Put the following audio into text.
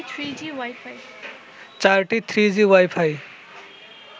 চারটি three G wifi